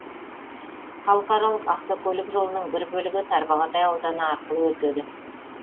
халықаралық автокөлік жолының бір бөлігі тарбағатай ауданы арқылы өтеді